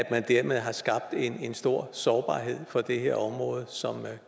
man dermed skabt en stor sårbarhed for det her område som